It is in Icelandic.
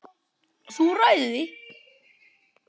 Þú ræður því.